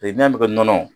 n'a bɛ kɛ nɔnɔ